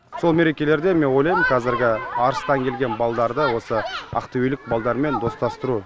сол мерекелерде мен ойлайм қазіргі арыстан келген балдарды ақтөбелік балдармен достастыру